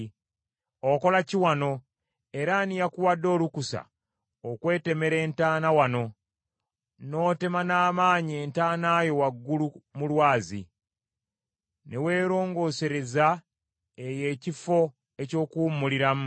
Okola ki wano era ani yakuwadde olukusa okwetemera entaana wano, n’otema n’amaanyi entaana yo waggulu mu lwazi, ne weerongoosereza eyo ekifo eky’okuwummuliramu?